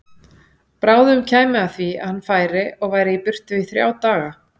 Bráðum kæmi að því að hann færi og væri í burtu í þrjá daga.